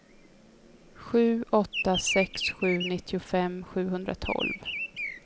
sju åtta sex sju nittiofem sjuhundratolv